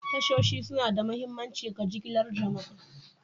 Tashoshi suna da mahimmanci ga jigilar jama'a.